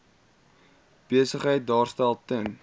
besigheid daarstel ten